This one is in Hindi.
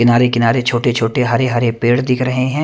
किनारे किनारे छोटे छोटे हरे हरे पेड़ दिख रहे है।